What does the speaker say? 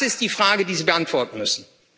Das ist die Frage, die Sie beantworten müssen.